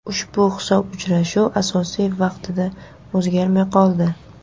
Ushbu hisob uchrashuv asosiy vaqtida o‘zgarmay qoldi.